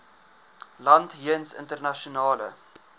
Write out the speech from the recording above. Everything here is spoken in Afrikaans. land jeens internasionale